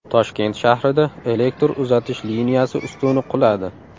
Toshkent shahrida elektr uzatish liniyasi ustuni quladi .